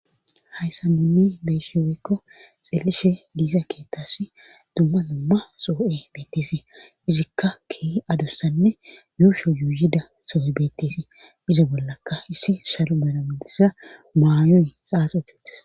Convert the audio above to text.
Hayssa duni beeshi weykko xelishe diisa keettasi dumma dumma soo7e beettesii izikka keei adussanne yuusho yuuyida soo7e bettesii izo bollaka issi shalu banamalisa maayoe xaasetutes